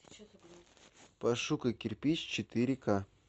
пошукай кирпич четыре ка